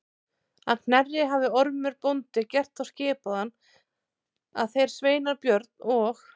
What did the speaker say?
Að Knerri hafði Ormur bóndi gert þá skipan að þeir sveinar Björn og